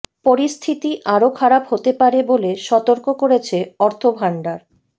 পরিস্থিতি আরও খারাপ হতে পারে বলে সতর্ক করেছে অর্থ ভাণ্ডার